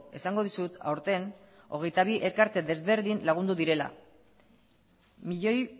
esango dizut aurten hogeita bi elkarte ezberdin lagundu direla milioi